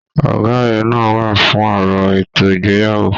Ọgá rẹ náà wà fún òrò ètò ìgbéyàwó.